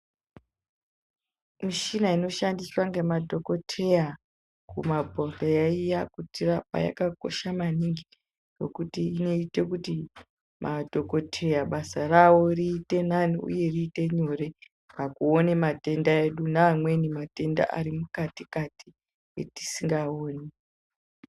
Mishini inoshandiswa nemadhokodheya kumabhedhleya iya kutirapa yakakosha maningi ngekuti inoita kuti madhokodheya basa ravo riite riri nani uye riite nyore pakuona matenda edu neamweni matenda ari mukati kati etisingaoni.